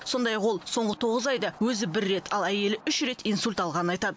сондай ақ ол соңғы тоғыз айда өзі бір рет ал әйелі үш рет инсульт алғанын айтады